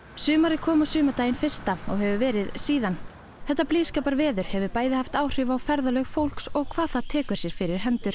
sumarið kom á sumardaginn fyrsta og hefur verið síðan þetta blíðskaparveður hefur bæði haft áhrif á ferðalög fólks og hvað það tekur sér fyrir hendur